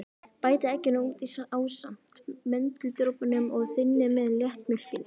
Bætið egginu út í ásamt möndludropunum og þynnið með léttmjólkinni.